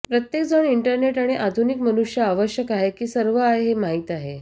प्रत्येकजण इंटरनेट आधुनिक मनुष्य आवश्यक आहे की सर्व आहे हे माहीत आहे